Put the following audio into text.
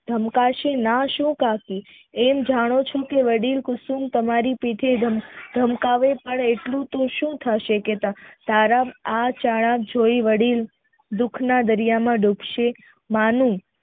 ધમકાસુ નાસું કાકી એ જાણો છો કે વડીલ કુસુમ તમારી પીછે ધમકાવે એટલે તો સુ થશે કે તારા આ ચાળા જોય વડીલ દુઃખ ના દરિયા માં ડુબશે માનું